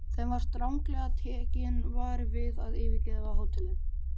Þeim var stranglega tekinn vari við að yfirgefa hótelið.